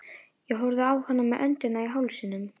Ég horfði á hana með öndina í hálsinum.